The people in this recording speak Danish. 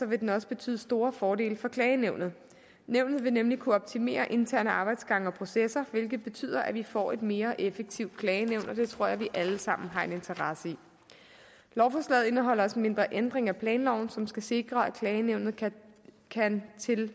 vil den også betyde store fordele for klagenævnet nævnet vil nemlig kunne optimere interne arbejdsgange og processer hvilket betyder at vi får et mere effektivt klagenævn og det tror jeg vi alle sammen har en interesse i lovforslaget indeholder også en mindre ændring af planloven som skal sikre at klagenævnet kan